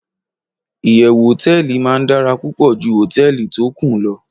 iyewu hoteeli ma dara pupo ju hoteeli to Kun lo